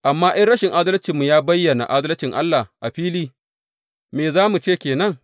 Amma in rashin adalcinmu ya bayyana adalcin Allah a fili, me za mu ce ke nan?